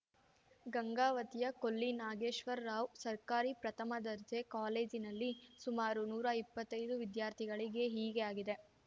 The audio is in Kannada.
ಗಂಗಾವತಿಯ ಕೊಲ್ಲಿನಾಗೇಶ್ವರಾವ್‌ ಸರ್ಕಾರಿ ಪ್ರಥಮ ದರ್ಜೆ ಕಾಲೇಜಿನಲ್ಲಿ ಸುಮಾರು ನೂರಾ ಇಪ್ಪತ್ತೈದು ವಿದ್ಯಾರ್ಥಿಗಳಿಗೆ ಹೀಗೆ ಆಗಿದೆ